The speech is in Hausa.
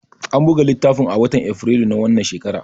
An buga littafin ne a watan Afrilu na wannan shekara.